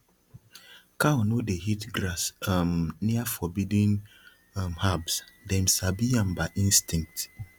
cow no dey eat grass um near forbidden um herbs dem sabi am by instinct